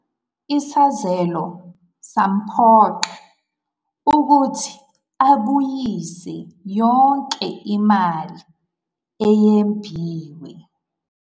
Isazelo samphoqa ukuthi ayibuyise yonke imali eyebiwe.